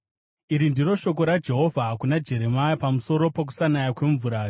Iri ndiro shoko raJehovha kuna Jeremia pamusoro pokusanaya kwemvura: